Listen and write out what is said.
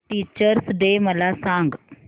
teachers day मला सांग